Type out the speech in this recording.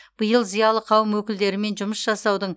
биыл зиялы қауым өкілдерімен жұмыс жасаудың